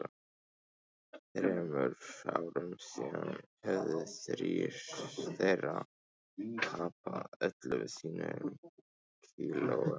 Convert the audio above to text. Þremur árum síðar höfðu þrír þeirra tapað öllum sínum kílóum.